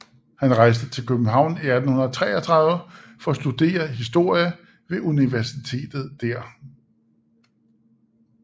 Han rejste til København i 1833 for at studere historie ved universitetet der